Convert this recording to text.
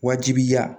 Wajibiya